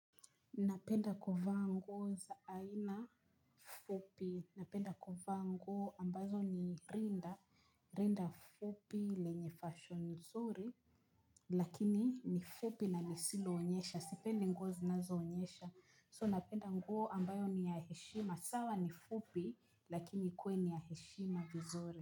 Napenda kuvaa nguo za aina fupi, napenda kuvaa nguo ambazo ni rinda. Rinda fupi lenye fashoni zuri. Lakini ni fupi na lisiloonyesha, sipendi nguo zinazoonyesha So napenda nguo ambayo ni ya heshima, sawa ni fupi lakini ikuwe ni ya heshima vizuri.